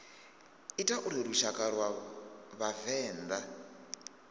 ita uri lushaka lwa vhavenḓa